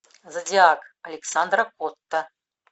зодиак александра котта